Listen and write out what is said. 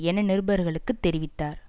என நிருபர்களுக்குத் தெரிவித்தார்